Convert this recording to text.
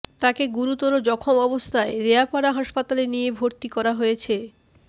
তাঁকে গুরুতর জখম অবস্থায় রেয়াপাড়া হাসপাতালে নিয়ে ভরতি করা হয়েছে